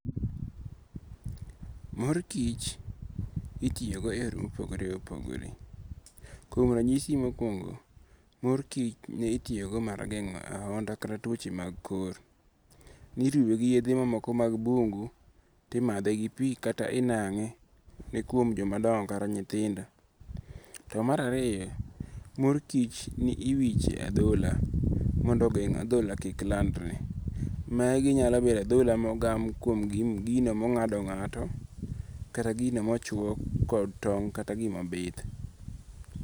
Mor kich itiyogodo e yore ma opogore opogore, kuom ranyisi mokuongo, mor kich ne itiyogodo mar gengo' ahonda kata tuoche mag kor, niruwe gi yethe ma moko mag bungu to imathe gi pi kata inange' kuom jomadongo kata nyithindo. To marariyo, mor kich ni iwiche e athola mondo ogeng' athola kik landre maginyalo bedo athola mogam kuom gino mongado nga'to kata gino mochuo kod tong kata gimabith.